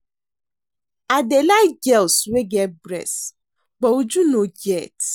I dey like girls wey get breast but Uju no get